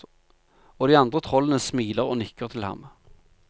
Og de andre trollene smiler og nikker til ham.